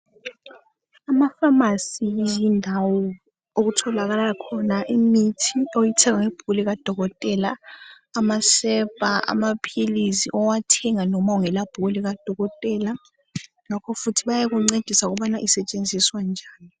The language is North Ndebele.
Amafamasi yindawo okutholakala khona imithi oyithenga ngebhuku likadokotela, amasepa, amaphilisi, owathenga noma ungela bhuku likadokotela. Ngakhofuthi bayakuncedisa ukubana isetshenziswa njani.